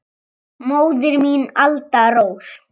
Móðir mín, Alda Rós.